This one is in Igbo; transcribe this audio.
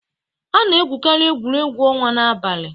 A na-egwukarị egwuregwu ọnwa n'abalị.